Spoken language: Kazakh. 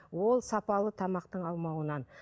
ол сапалы тамақтың алмауынан